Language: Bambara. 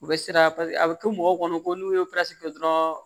U bɛ siran paseke a bɛ kɛ mɔgɔw kɔnɔ ko n'u ye kɛ dɔrɔn